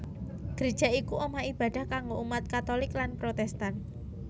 Greja iku omah ibadah kanggo umat Katholik lan Protestan